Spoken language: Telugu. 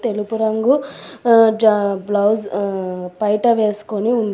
తెలుపు రంగు ఆ జ బ్లౌజ్ హ్ పైట వేసుకొని ఉంది.